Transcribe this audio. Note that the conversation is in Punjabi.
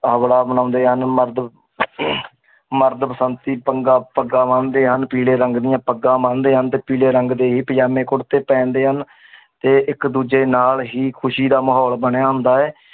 ਹਲਵਾ ਬਣਾਉਂਦੇ ਹਨ ਮਰਦ ਮਰਦ ਬਸੰਤੀ ਪੰਗਾ ਪੱਗਾਂ ਬੰਨਦੇ ਹਨ ਪੀਲੇ ਰੰਗ ਦੀਆਂ ਪੱਗਾਂ ਬੰਨਦੇ ਹਨ ਤੇ ਪੀਲੇ ਰੰਗ ਦੇ ਹੀ ਪੰਜਾਮੇ ਕੁੜਤੇ ਪਹਿਨਦੇ ਹਨ ਤੇ ਇਕ ਦੂਜੇ ਨਾਲ ਹੀ ਖ਼ੁਸ਼ੀ ਦਾ ਮਾਹੌਲ ਬਣਿਆ ਹੁੰਦਾ ਹੈ l